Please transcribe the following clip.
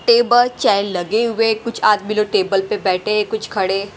table चाय लगे हुए कुछ आदमी लोग टेबल पे बैठे हैं कुछ खड़े--